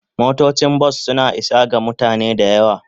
Motocin bas suna isa ga mutane da yawa.